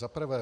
Za prvé.